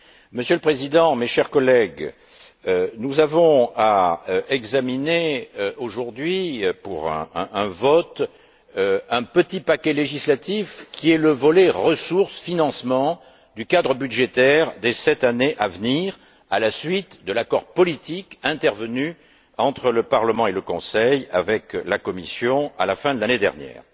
Monsieur le Président, chers collègues, nous avons à examiner aujourd'hui, pour un vote, un petit paquet législatif qui est le volet ressources financement du cadre budgétaire des sept années à venir, à la suite de l'accord politique intervenu entre le Parlement et le Conseil avec la Commission, à la fin de l'année dernière.